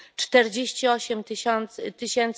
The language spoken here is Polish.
48 tys.